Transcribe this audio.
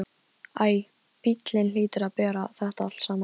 Æ, bíllinn hlýtur að bera þetta allt saman.